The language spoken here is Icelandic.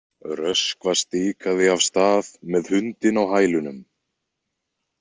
Röskva stikaði af stað með hundinn á hælunum.